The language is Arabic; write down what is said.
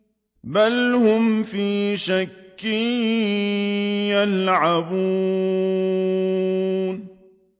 بَلْ هُمْ فِي شَكٍّ يَلْعَبُونَ